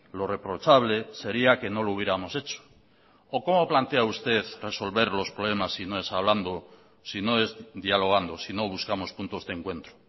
lo reprochable sería que no lo hubiéramos hecho o cómo plantea usted resolver los problemas si no es hablando si no es dialogando si no buscamos puntos de encuentro